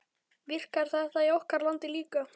Virkar þetta í okkar landi líka?